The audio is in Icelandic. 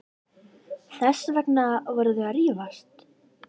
Þess vegna voru þau að rífast.